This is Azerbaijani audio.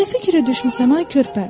Sən nə fikirə düşmüsən, ay körpə?